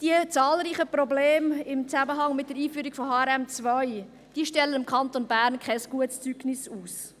Die zahlreichen Probleme im Zusammenhang mit der Einführung von HRM2 stellen dem Kanton Bern kein gutes Zeugnis aus.